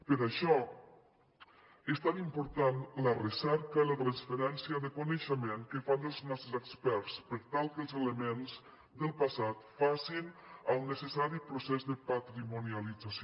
per això és tan important la recerca i la transferència de coneixement que fan dels nostres experts per tal que els elements del passat facin el necessari procés de patrimonialització